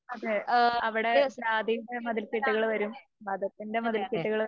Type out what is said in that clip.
അതെ. അവിടെ ജാതീന്റെ മതിൽകെട്ടുകൾ വരും മതത്തിന്റെ മതിൽകെട്ടുകള്